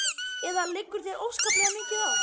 Eða liggur þér óskaplega mikið á?